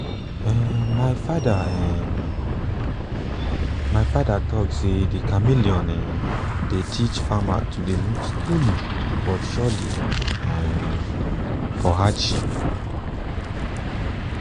um my father um my father talk say de chameleon um dey teach farmers to dey move slowly but surely for um hardship